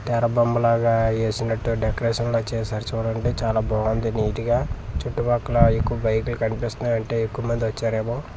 ఏరా బొమ్మ లాగా ఏసినట్టు డెకరేషన్ లా చేసారు చూడండి చాలా బాంది నీట్ గా చుట్టుపక్కల ఎక్కువ బైక్లు కన్పిస్తున్నాయంటే ఎక్కువ మంది వచ్చారేమో.